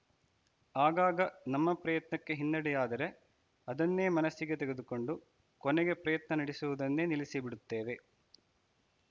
ಆಗಾಗ ನಮ್ಮ ಪ್ರಯತ್ನಕ್ಕೆ ಹಿನ್ನಡೆಯಾದರೆ ಅದನ್ನೇ ಮನಸ್ಸಿಗೆ ತೆಗೆದುಕೊಂಡು ಕೊನೆಗೆ ಪ್ರಯತ್ನ ನಡೆಸುವುದನ್ನೇ ನಿಲ್ಲಿಸಿಬಿಡುತ್ತೇವೆ